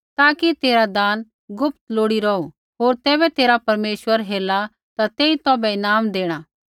ताकि तेरा दान गुप्त लोड़ी रौहू होर तैबै तेरा परमेश्वर हेरला ता तेई तौभै ईनाम देणा